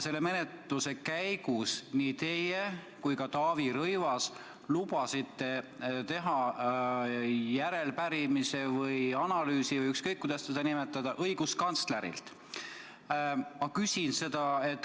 Menetluse käigus nii teie kui ka Taavi Rõivas lubasite teha järelepärimise õiguskantslerile või analüüsi õiguskantslerilt.